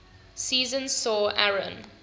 season saw aaron